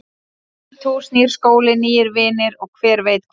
Nýtt hús, nýr skóli, nýir vinir og hver veit hvað.